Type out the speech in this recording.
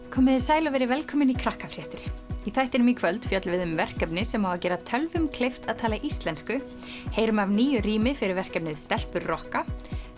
komiði sæl og verið velkomin í í þættinum í kvöld fjöllum við um verkefni sem á að gera tölvum kleift að tala íslensku heyrum af nýju rými fyrir verkefnið stelpur rokka